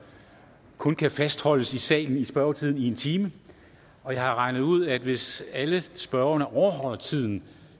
kun kan fastholdes i salen i spørgetiden i en time og jeg har regnet ud at hvis alle spørgerne overholder tiden